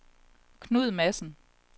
Knud Madsen